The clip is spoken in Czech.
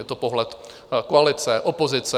Je to pohled koalice - opozice.